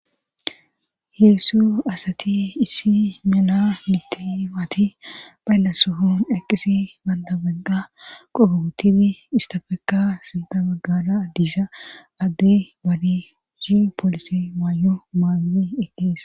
Heessu asati issi mina mittimati bhayllasohon eqqisi bandabenqa qogogotini istafeka sinta baggara addiisa adde bari hi poolisi maay'o maai eqqees